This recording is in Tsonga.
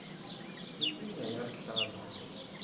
minsinya ya rihlaza